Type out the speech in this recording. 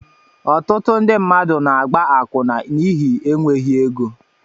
Ọtụtụ ndị mmadụ na-agba akwụna n'ihi enweghị ego